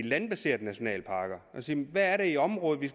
landbaserede nationalparker og se på der er i området vi